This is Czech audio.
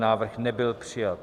Návrh nebyl přijat.